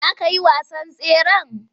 Za ka yi wasan tseren?